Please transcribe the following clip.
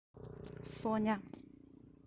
соня